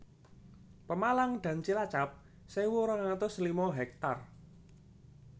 Pemalang dan Cilacap sewu rong atus lima hektar